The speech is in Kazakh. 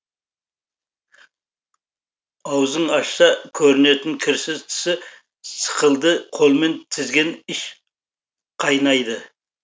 аузың ашса көрінетін кірсіз тісі сықылды қолмен тізген іш қайнайды